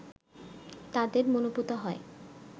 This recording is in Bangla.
তাদের মনোপুত হয়